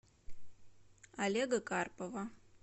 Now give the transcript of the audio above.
олега карпова